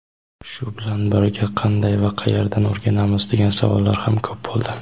Shu bilan birga "qanday va qayerdan o‘rganamiz" degan savollar ham ko‘p bo‘ldi.